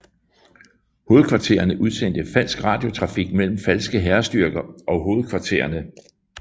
Hovedkvartererne udsendte falsk radiotrafik mellem falske hærstyrker og hovedkvartererne